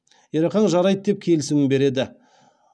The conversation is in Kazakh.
ерақаң жарайды деп келісімін береді